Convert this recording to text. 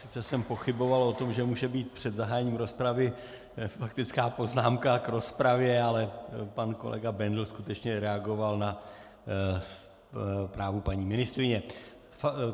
Sice jsem pochyboval o tom, že může být před zahájením rozpravy faktická poznámka k rozpravě, ale pan kolega Bendl skutečně reagoval na zprávu paní ministryně.